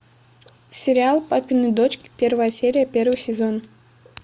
сериал папины дочки первая серия первый сезон